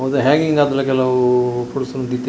ಅವು ಹ್ಯಾಂಗಿಂಗ್‌ ಆತ್ಲ ಕೆಲವು ಫ್ರೂಟ್ಸ್‌ನ್ ದೀತೆರ್.